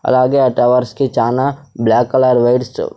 అలాగే ఆ టవర్స్ కి చానా బ్లాక్ కలర్ వైర్స్ --